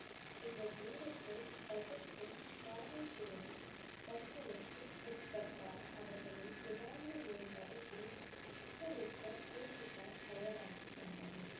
இந்த நேரத்தில் பகத் சிங் காவல்துறையின் கண்களுக்கு உட்பட்டால் அவர்களை ஏதாவது ஒரு வழக்கில் சிக்க வைக்கப் போலீசார் தயாராகி வந்தனர்.